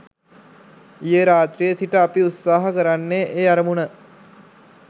ඊයේ රාත්‍රියේ සිට අපි උත්සාහ කරන්නේ ඒ අරමුණ